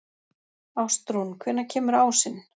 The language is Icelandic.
Ástrún, hvenær kemur ásinn?